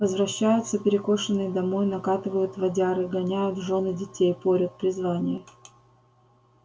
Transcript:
возвращаются перекошенные домой накатывают водяры гоняют жён и детей порют призвание